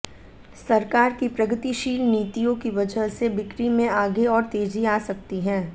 सरकार की प्रगतिशील नीतियों की वजह से बिक्री में आगे और तेजी आ सकती है